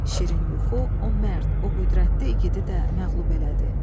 Şirin yuxu o mərd, o qüdrətli igidi də məğlub elədi.